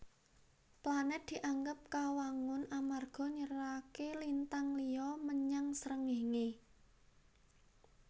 Planèt dianggep kawangun amarga nyeraké lintang liya menyang Srengéngé